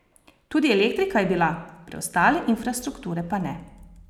Tudi elektrika je bila, preostale infrastrukture pa ne.